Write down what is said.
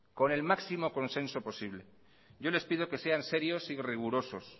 con el máximo consenso posible yo les pido que sean serios y rigurosos